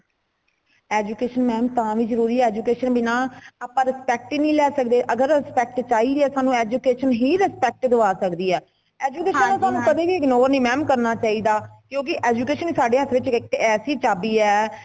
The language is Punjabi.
education ma'am ਤਾ ਵੀ ਜਰੂਰੀਕ ਹੈ education ਬਿਨਾ ਆਪਾ respect ਹੀ ਨਹੀਂ ਲੇ ਸਕਦੇ ਅਗਰ respect ਚਾਹੀਦੀ ਹੈ ਸਾਨੂ education ਹੀ respect ਦਵਾ ਸਕਦੀ ਹੈ education ਨੂੰ ਤੁਹਾਨੂੰ ਕਦੇਵੀ ignore ਨਹੀਂ ਕਰਨਾ ਚਾਹੀਦਾ ਕਯੋ ਕਿ education ਸਾਡੇ ਹੱਥ ਵਿੱਚ ਇੱਕ ਐਸੀ ਚਾਬੀ ਹੈ